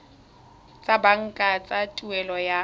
tsa banka tsa tuelo ya